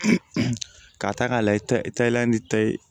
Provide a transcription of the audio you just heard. K'a ta k'a lajɛ tayɛlɛ ni ta ye